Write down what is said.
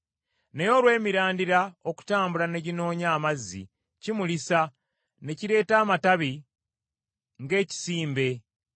naye olw’emirandira okutambula ne ginoonya amazzi kimulisa ne kireeta amatabi ng’ekisimbe.